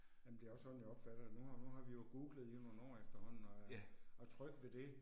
Jamen det er også sådan jeg opfatter det, nu har nu har vi jo googlet i nogle år efterhånden og øh og er trygge ved det